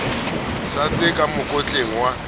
sa setse ka mokotleng wa